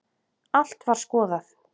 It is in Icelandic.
Allt var skoðað.